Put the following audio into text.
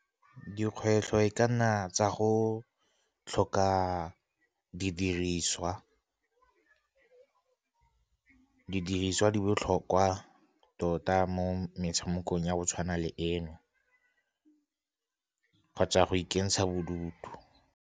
Dikgwetlho e ka nna tsa go tlhoka didiriswa, didiriswa di botlhokwa tota mo metshamekong ya go tshwana le eno kgotsa go ikentsha bodutu.